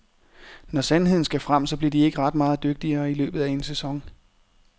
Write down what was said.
Når sandheden skal frem, så blev de ikke ret meget dygtigere i løbet af en sæson.